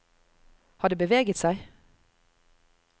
Har det beveget seg?